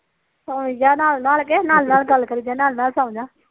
ਸੋਈ ਜਾ ਨਾਲ ਨਾਲ ਤੇ ਨਾਲ ਨਾਲ ਗੱਲ ਕਰੀ ਜਾ ਨਾਲ ਨਾਲ ਸੋ ਜਾ